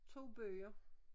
2 bøger